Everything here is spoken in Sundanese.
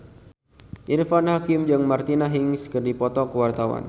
Irfan Hakim jeung Martina Hingis keur dipoto ku wartawan